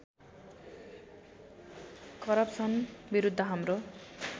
corruption विरुद्ध हाम्रो